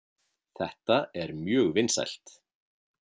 Þetta er mjög vinsælt.